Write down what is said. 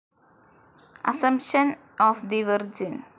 assumption of the virgin